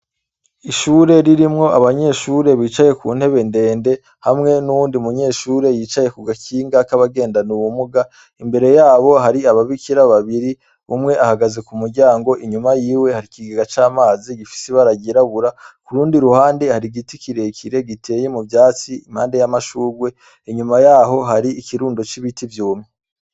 ishure ririmwo abanyeshure bicaye ku ntebe ndende hamwe n'uwundi munyeshure yicaye ku gakinga k'abagendane ubumuga. Imbere yabo hari ababikira babiri umwe ahagaze ku muryango inyuma yiwe hari ikigega c'amazi gifise baragirabura ku rundi ruhande hari giti kirekire giteye mu vyatsi impande y'amashurwe inyuma yaho hari ikirundo c'ibiti vyumye.